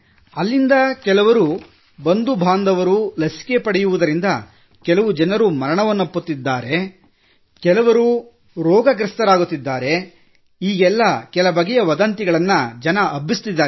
ಅಲ್ಲಿಂದ ಕೆಲವರು ಬಂಧು ಬಾಂಧವರು ಲಸಿಕೆ ಪಡೆಯುವುದರಿಂದ ಕೆಲ ಜನರು ಮರಣವನ್ನಪ್ಪುತ್ತಿದ್ದಾರೆ ಕೆಲವರು ರೋಗಗ್ರಸ್ತರಾಗುತ್ತಿದ್ದಾರೆ ಎಂದು ಕೆಲ ಬಗೆಯ ವದಂತಿಗಳನ್ನು ಹಬ್ಬಿಸುತ್ತಿದ್ದಾರೆ